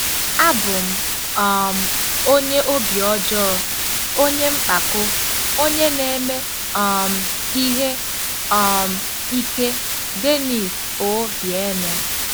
“Abụ m um onye obi ọjọọ, onye mpako, onye na-eme um ihe um ike.” - DENNIS O’BEIRNE